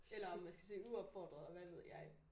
Eller om man skal søge uopfordret og hvad ved jeg